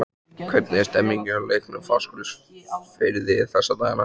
Hvernig er stemningin hjá Leikni Fáskrúðsfirði þessa dagana?